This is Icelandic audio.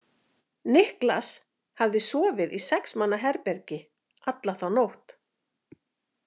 Niklas hafði sofið í sex manna herbergi alla þá nótt.